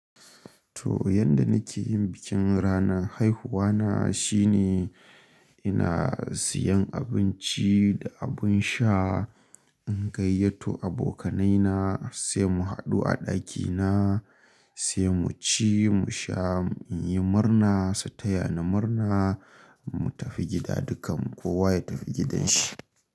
To yanda nake yin bikin ranar haihuwa na shine ina siyan abinci da abin sha, in gayyato abokanaina sai mu haɗu a ɗakina, sai mu ci, mu sha, in yi murna su taya ni murna mu tafi gida dukkan kowa ya tafi gidanshi.